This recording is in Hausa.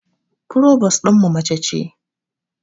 Furobos ɗinmu mace ce